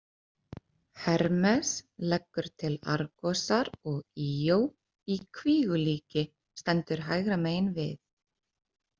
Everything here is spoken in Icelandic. Hermes leggur til Argosar og Íó í kvígulíki stendur hægra megin við.